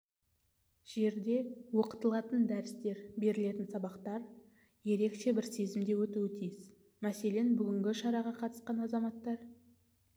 жерде оқылатын дәрістер берілетін сабақтар ерекше бір сезімде өтуі тиіс мәселен бүгінгі шараға қатысқан азаматтар